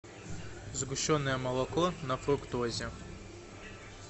сгущенное молоко на фруктозе